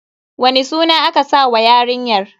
Wani suna aka sa wa yarinyar?